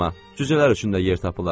Cücələr üçün də yer tapılar.